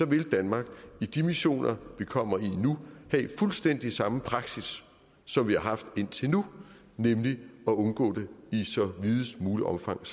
vil danmark i de missioner vi kommer i nu have fuldstændig samme praksis som vi har haft indtil nu nemlig at undgå det i videst muligt omfang